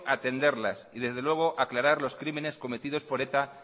atenderlas y desde luego aclarar los crímenes cometidos por eta